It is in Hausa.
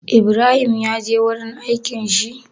Ibrahim ya je wurin aikin shi?